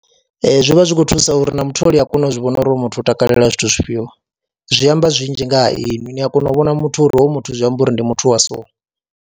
Ee, zwi vha zwi khou thusa uri na mutholi a kone u zwi vhona uri hoyu muthu o takalela zwithu zwifhio, zwi amba zwinzhi nga ha inwi ni a kona u vhona muthu uri hoyu muthu zwi amba uri ndi muthu wa so.